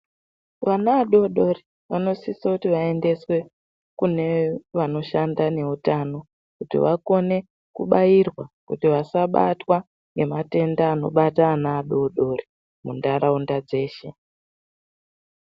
Vana vadodori vanosise kuti vaendeswe kune vanoshanda neutano kuti vakone kubairwa kuti vasabatwa ngematenda anobatabana adodori muntaraunda dzeshe.